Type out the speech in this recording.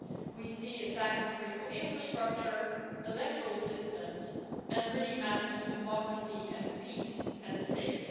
We see attacks on critical infrastructure, electoral systems, and really matters of democracy and peace at stake.